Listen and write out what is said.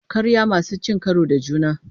Ƙarya masu cin karo da juna.